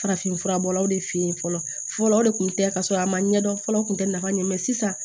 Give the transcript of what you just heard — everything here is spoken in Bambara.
Farafinfura bɔlaw de fɛ yen fɔlɔ fɔlɔ o de tun tɛ ka sɔrɔ a ma ɲɛdɔn fɔlɔ o tun tɛ nafa ɲɛ sisan